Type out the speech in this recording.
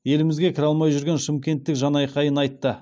елімізге кіре алмай жүрген шымкенттік жанайқайын айтты